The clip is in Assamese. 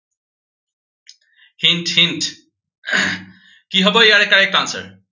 hint hint কি হব ইয়াৰে correct answer